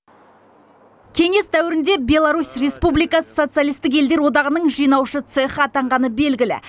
кеңес дәуірінде беларусь республикасы социалистік елдер одағының жинаушы цехы атанғаны белгілі